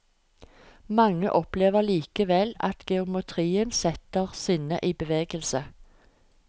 Mange opplever likevel at geometrien setter sinnet i bevegelse.